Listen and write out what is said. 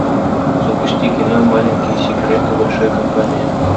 запусти кино маленькие секреты большой компании